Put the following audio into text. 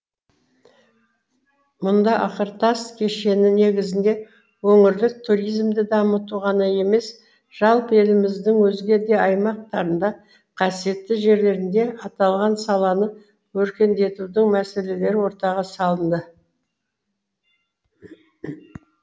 мұнда ақыртас кешені негізінде өңірлік туризмді дамыту ғана емес жалпы еліміздің өзге де аймақтарында қасиетті жерлерінде аталған саланы өркендетудің мәселелері ортаға салынды